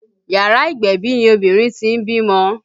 Yàrá ìgbẹ̀bì ni obìnrin tí ń bímọ